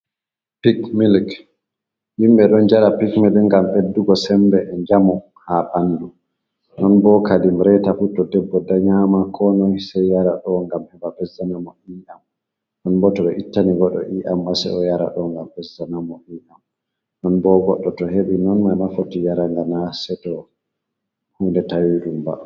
Pik milik, yimɓe ɗo njara pik milik ngam ɓeddugo semmbe e njamu haa banndu, non bo kadi reta fuu to debbo danyama koo noy sey yara ɗo ngam heɓa ɓesdana mo ii'am ɗon boo to ɓe ittani goɗɗo ii'am maa sey o yara ɗo ngam ɓesdana mo ii'am, non boo goɗɗo to heɓi non boo goɗɗo non foti yara ngam naa seyto huunde tawi ɗum ba